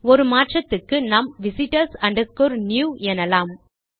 ஒரு மாற்றத்துக்கு நாம் visitors new எனலாம்